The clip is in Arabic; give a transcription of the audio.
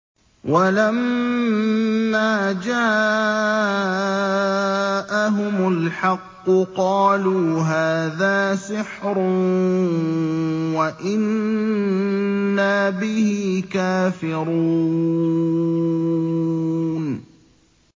وَلَمَّا جَاءَهُمُ الْحَقُّ قَالُوا هَٰذَا سِحْرٌ وَإِنَّا بِهِ كَافِرُونَ